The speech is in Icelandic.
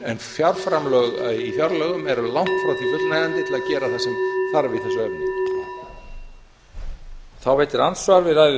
en fjárframlög í fjárlögum eru langt frá því fullnægjandi til að gera það sem þarf í þessu efni